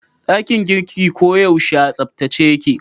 Dakin girkin ko yaushe a tsabtace yake